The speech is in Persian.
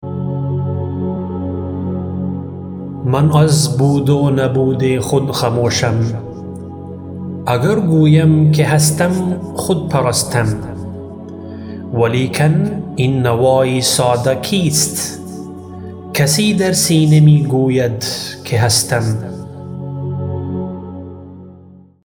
من از بود و نبود خود خموشم اگر گویم که هستم خود پرستم ولیکن این نوای ساده کیست کسی در سینه می گوید که هستم